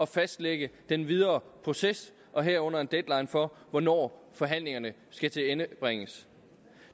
fastlægge den videre proces herunder en deadline for hvornår forhandlingerne skal tilendebringes